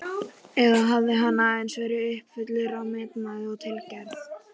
Og velur þann hluta ekki endilega sjálfur.